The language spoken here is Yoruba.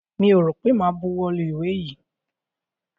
Mi ò rọ̀ pé mo ma buwọ́ lu ìwé yìí.